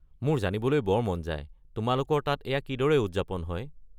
মোৰ জানিবলৈ বৰ মন যায় তোমালোকৰ তাত এইয়া কিদৰে উদযাপন হয়।